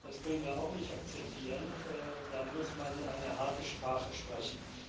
Das können wir auch nicht akzeptieren, da muss man eine harte Sprache sprechen.